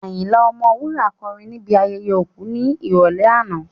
Ayinla Ọmọwura kọrin ní ibi ayẹyẹ òkú ní ìrọ̀lẹ́ àná